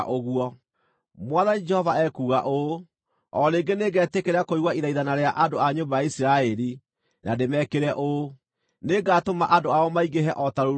“Mwathani Jehova ekuuga ũũ: O rĩngĩ nĩngetĩkĩra kũigua ithaithana rĩa andũ a nyũmba ya Isiraeli na ndĩmekĩre ũũ: Nĩngatũma andũ ao maingĩhe o ta rũũru rwa ngʼondu,